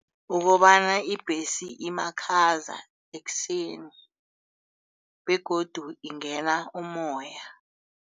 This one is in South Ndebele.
Ukobana ibhesi imakhaza ekuseni begodu ingena umoya.